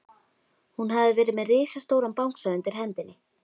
Hún hafði verið með risastóran bangsa undir hendinni.